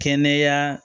Kɛnɛya